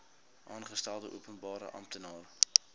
aangestelde openbare amptenaar